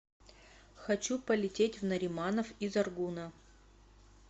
хочу полететь в нариманов из аргуна